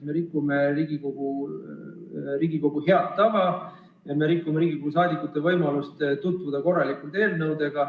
Me rikume Riigikogu head tava ja me vähendame Riigikogu liikmete võimalust tutvuda eelnõudega.